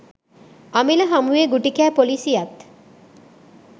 අමිල හමුවේ ගුටි කෑ පොලිසියත්